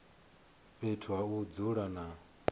fhethu ha u dzula na